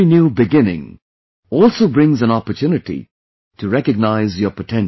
Every new beginning also brings an opportunity to recognize your potential